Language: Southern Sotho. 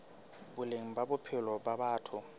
boleng ba bophelo ba batho